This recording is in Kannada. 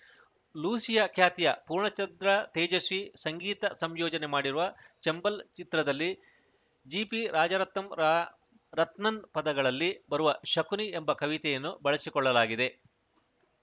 ಲೂಸಿಯಾ ಖ್ಯಾತಿಯ ಪೂರ್ಣಚಂದ್ರ ತೇಜಸ್ವಿ ಸಂಗೀತ ಸಂಯೋಜನೆ ಮಾಡಿರುವ ಚಂಬಲ್‌ ಚಿತ್ರದಲ್ಲಿ ಜಿಪಿರಾಜರತ್ನಂರ ರತ್ನನ್‌ ಪದಗಳಲ್ಲಿ ಬರುವ ಶಕುನಿ ಎಂಬ ಕವಿತೆಯನ್ನು ಬಳಸಿಕೊಳ್ಳಲಾಗಿದೆ